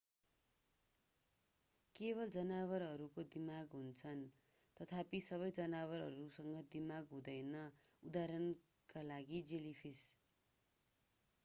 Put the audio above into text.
केवल जनावरहरूको दिमाग हुन्छ तथापि सबै जनावरहरूसँग दिमाग हुँदैन; उदाहरणका लागि जेलिफिस।